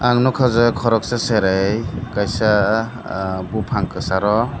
noka je koropsa serai kaisa bupang kesaro.